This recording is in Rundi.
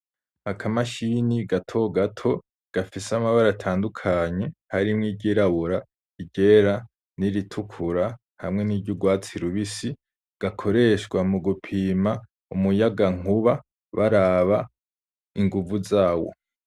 Akamashini gatogato gafise amabara atandukanye harimwo iryirabura iryera n'iritukura hamwe n'iryurwatsi rubisi gakoreshwa mu gupima umuyagankuba baraba inguvu zawo.